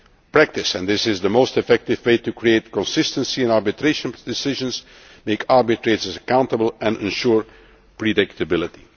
WTO appellate body practice, and this is the most effective way to create consistency in arbitration decisions, make arbitrators accountable and ensure